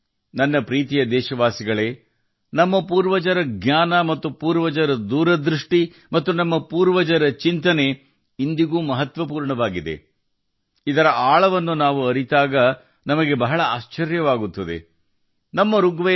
ನನ್ನ ಪ್ರೀತಿಯ ದೇಶವಾಸಿಗಳೇ ನಮ್ಮ ಪೂರ್ವಜರ ಜ್ಞಾನ ನಮ್ಮ ಪೂರ್ವಜರ ದೂರದೃಷ್ಟಿ ಮತ್ತು ಏಕಾತ್ಮಚಿಂತನ ಸಮಗ್ರ ಸ್ವಯಂ ಸಾಕ್ಷಾತ್ಕಾರವು ಇಂದಿಗೂ ಬಹಳ ಮಹತ್ವದ್ದಾಗಿದೆ ನಾವು ಅದರ ಆಳಕ್ಕೆ ಹೋದಾಗ ನಾವು ಆಶ್ಚರ್ಯದಿಂದ ತುಂಬಿರುತ್ತೇವೆ